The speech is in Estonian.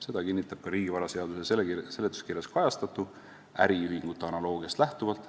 Seda kinnitab ka riigivaraseaduse seletuskirjas kajastatu äriühingute analoogiast lähtuvalt.